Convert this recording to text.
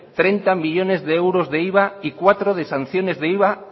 treinta millónes de euros de iva y cuatro de sanciones de iva